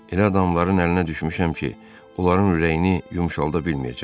Elə adamların əlinə düşmüşəm ki, onların ürəyini yumşalda bilməyəcəm.